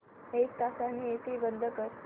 एक तासाने एसी बंद कर